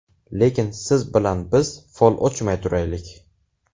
Lekin siz bilan biz fol ochmay turaylik.